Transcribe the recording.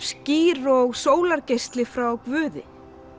skýr og sólargeisli frá Guði